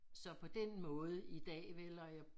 Så på den måde i dag vel og jeg